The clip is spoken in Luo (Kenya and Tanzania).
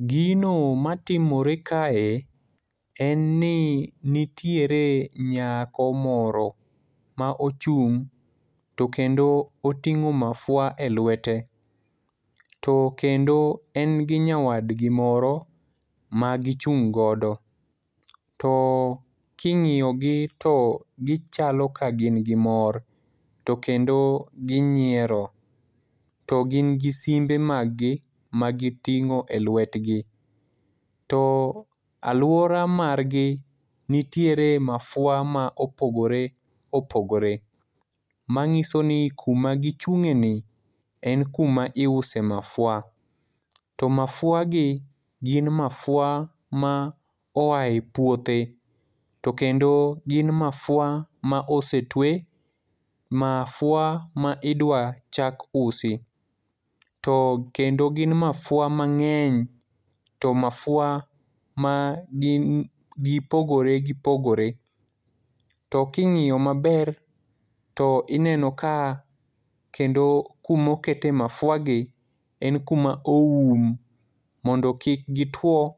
Gino ma timore kae, en ni nitiere nyako moro ma ochung' to kendo oting'o mafua e lwete. To kendo en gi nyawadgi moro magichung' godo. To king'iyo gi to gichalo ka gin gi mor, to kendo ginyiero. To gin gi simbe mag gi ma giting'o e lwetgi. To alwora margi, nitiere mafua ma opogore opogore. Ma nyiso ni kuma gichung'ie ni en kuma iuse mafua. To mafua gi gin mafua maoe puothe to kendo gin mafua ma osetwe, mafua ma idwa chak usi. To kendo gin mafua mang'eny, to mafua ma gin gipogore gipogore. To king'iyo maber, to ineno ka kendo kumokete mafua gi, en kuma oum, mondo kik gitwo,